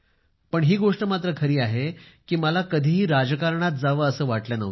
पण ही गोष्ट मात्र खरी आहे की मला कधीही राजकारणात जावं असं वाटलं नव्हतं